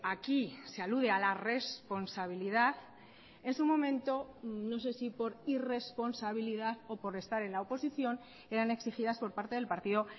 aquí se alude a la responsabilidad es un momento no sé si por irresponsabilidad o por estar en la oposición eran exigidas por parte del partido